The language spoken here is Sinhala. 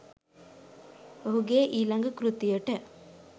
ඔහුගේ ඊළඟ කෘතියට